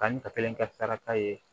Kanni ka kelen kɛ tarata ye